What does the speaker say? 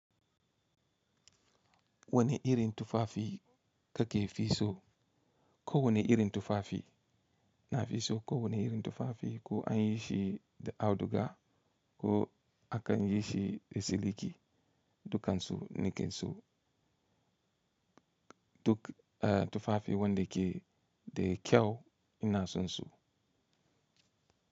Wane irin tufafi kake fi so? Ko wane irin tufafi na fi so? Ko wane irin tufafi ko an yi shi da auduga ko akan yi shi da siliki, dukan su nake so. Tufafi wanda ke da kyau ina son su.